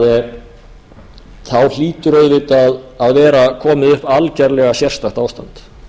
kosninga þá hlýtur auðvitað að vera komið upp algerlega sérstakt ástand